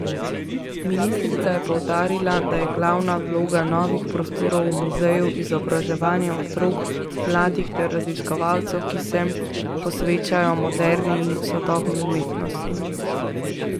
Ministrica je poudarila, da je glavna vloga novih prostorov v muzeju izobraževanje otrok, mladih ter raziskovalcev, ki se posvečajo moderni in sodobni umetnosti.